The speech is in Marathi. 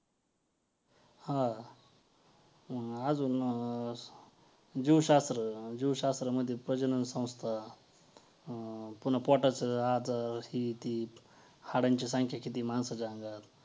अ कारण की ह्या टायमाला कसय अ आता पर्यंत जे माणसाला माणसाचाय् ना कधीच चांगल बघवत नाय. मला वाटत ते जे लिंबू ठेवणं वैगरे ते ना कदाचित नजर वैगरे न लागण्यासाठी असावं किंवा माहितीय घराच्या बाहेर भोपळा वैगरे म्हणजे अस लावतात.